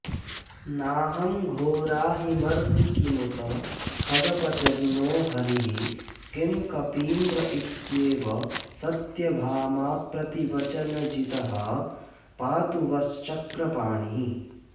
नाहं घोराहिमर्दी किमुत खगपतिर्नो हरिः किं कपीन्द्र इत्येवं सत्यभामाप्रतिवचनजितः पातु वश्चक्रपाणिः